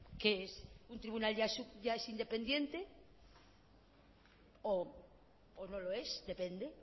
qué es un tribunal ya es independiente o no lo es depende